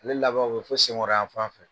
A le laban bɛ fo sen kɔrɔ yan fan fɛ.